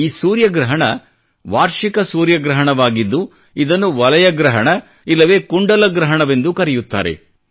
ಈ ಸೂರ್ಯಗ್ರಹಣ ವಾರ್ಷಿಕ ಸೂರ್ಯಗ್ರಹಣವಾಗಿದ್ದು ಇದನ್ನು ವಲಯ ಗ್ರಹಣ ಇಲ್ಲವೇ ಕುಂಡಲ ಗ್ರಹಣವೆಂದೂ ಕರೆಯುತ್ತಾರೆ